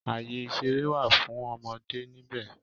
Àyè ìṣeré wà fún ọmọdé níbẹ̀